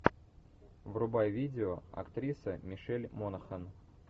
врубай видео актриса мишель монахэн